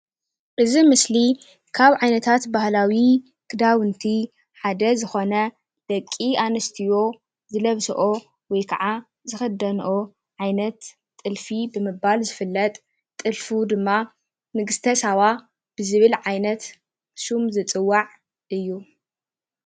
እዚ ምስሊ ካብ ዓይነታት ባህላዊ ክዳዉንቲ ሓደ ዝኾነ ደቂ ኣንስትዮ ዝለብስኦ ወይ ከዓ ዝኽደንኦ ዓይነት ጥልፊ ብምባል ዝፍለጥ ጥልፉ ድማ ንግስተ ሳባ ብዝብል ዓይነት ሹም ዝፅዋዕ እዩ።